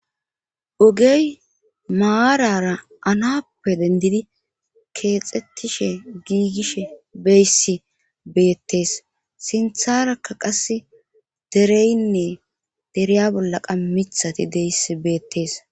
Ogey maarara anappe dendidi keexxettishe giigishe beyssi beettees sintharakka qase dereynne deriya bollaqa mithati deyss beettees.